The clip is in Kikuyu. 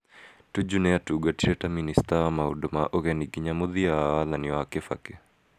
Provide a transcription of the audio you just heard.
Tuju nĩ atungatire ta Minista wa Maũndũ ma Ũgeni nginya mũthia wa wathani wa Kibaki.